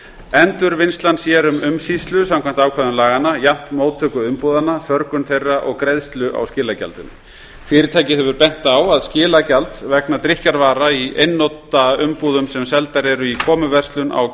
endurvinnslan sér um umsýslu samkvæmt ákvæðum laganna jafnt móttöku umbúðanna förgun þeirra og greiðslu á skilagjaldinu fyrirtækið hefur bent á að skilagjald vegna drykkjarvara í einnota umbúðum sem seldar eru í komuverslun á